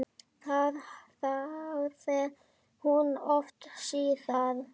Það þáði hún oft síðar.